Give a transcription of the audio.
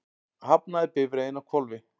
Hafnaði bifreiðin á hvolfi